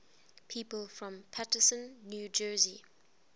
people from paterson new jersey